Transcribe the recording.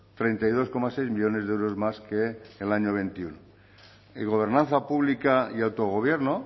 treinta y dos coma seis millónes de euros más que en el año veintiuno y gobernanza pública y autogobierno